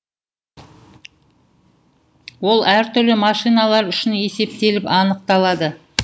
ол әр түрлі машиналар үшін есептеліп анықталады